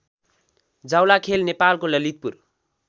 जाउलाखेल नेपालको ललितपुर